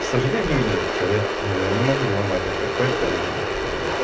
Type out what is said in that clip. к сожалению нет не могу уломать никак катю